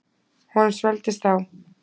Honum svelgdist á.